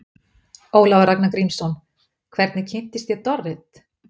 Ólafur Ragnar Grímsson: Hvernig kynntist ég Dorrit?